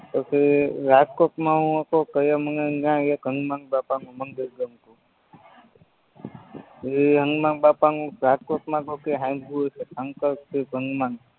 પછી રાજકોટમાં હું હતો તયે ન્યા મને એક હનુમાનબાપાનું મંદિર ગમતું પછી હનુમાબાપાનું રાજકોટમાં